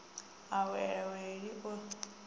a wale wili o i